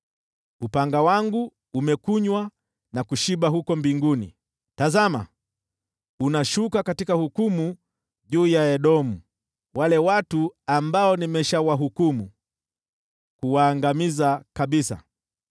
Upanga wangu umekunywa na kushiba huko mbinguni, tazama, unashuka katika hukumu juu ya Edomu, wale watu ambao nimeshawahukumu, kuwaangamiza kabisa.